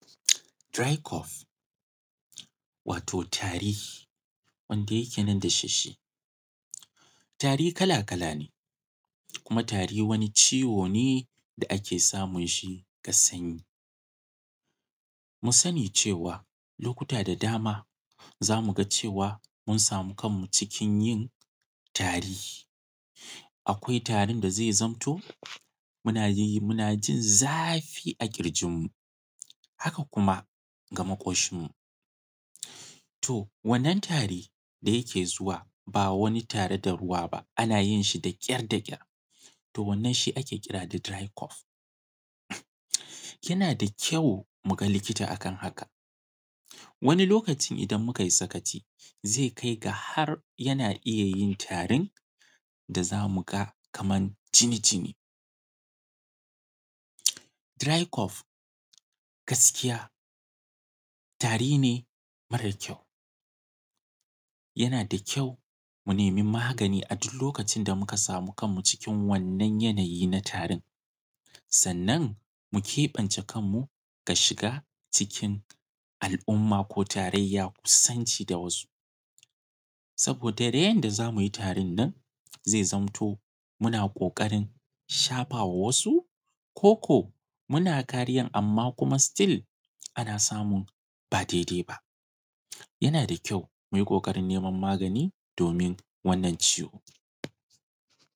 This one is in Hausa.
Dry cough, wato tari. wanda yake nan da shi shi. Tari kala-kala ne, kuma tari wani ciwo ne da ake samun shi daga sanyi. Mu sani cewa, lokuta da dama za mu ga cewa mun samu kanmu cikin yin tari. Akwai tarin da zai zamto, muna yi muna jin zafi a ƙirjinmu, haka kuma ga maƙoshinmu. To, wannan tari da yake zuwa ba wani tare da ruwa ba, ana yin shi da ƙyar da ƙyar, to wannan shi ake kira da dry cough. Yana da kyau mu ga likita a kan haka. Wani lokaci idan muka yi sakaci, zai kai ga har yana iya yi tarin da za mu ga kaman jini-jini. Dry cough, gaskiya, tari ne mara kyau. Yana da kyau mu nemi magani a duk lokacin da muka samu kanmu cikin wannan yanayi na tarin, sannan mu keɓe kanmu daga shiga cikin, al’umma ko tarayya kusanci da wasu, saboda yanda za mu yi tarin nan, zai zamto muna ƙoƙarin shafa wa wasu, ko ko muna kariyan amma kuma still ana samun ba daidai ba. Yana da kyau mu yi ƙoƙarin neman magani domin wannan ciwo.